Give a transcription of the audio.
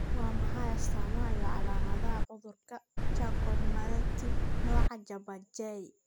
Waa maxay astamaha iyo calaamadaha cudurka Charcot Marie Tooth nooca laba J?